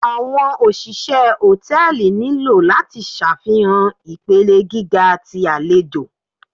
Awọn oṣiṣẹ hòtẹ́ẹ̀lì nilo lati ṣafihan ipele giga ti alejò.